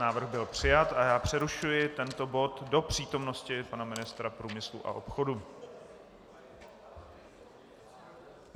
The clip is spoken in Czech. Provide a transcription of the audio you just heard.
Návrh byl přijat a já přerušuji tento bod do přítomnosti pana ministra průmyslu a obchodu.